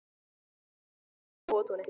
Amor, er opið í Nóatúni?